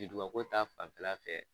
Yiriduga ko ta fanfɛla fɛ.